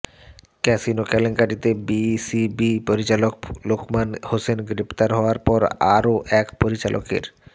casino কেলেঙ্কারিতে BCB পরিচালক লোকমান হোসেন গ্রেপ্তার হওয়ার পর আরও এক পরিচালকের